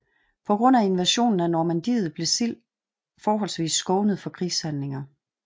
På grund af invasionen af Normandiet blev Sild forholdsvis skånet for krigshandlinger